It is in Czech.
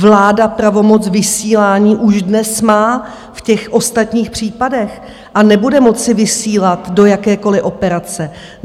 Vláda pravomoc vysílání už dnes má v těch ostatních případech a nebude moci vysílat do jakékoliv operace.